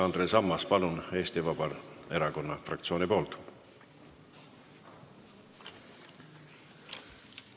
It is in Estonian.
Andres Ammas, palun, Eesti Vabaerakonna fraktsiooni nimel!